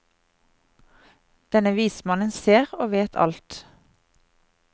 Denne vismannen ser og vet alt.